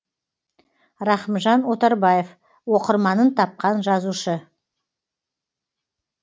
рахымжан отарбаев оқырманын тапқан жазушы